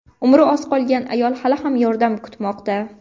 Umri oz qolgan ayol hali ham yordam kutmoqda.